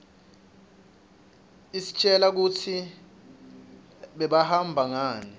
istjela kutsi bebahamba ngani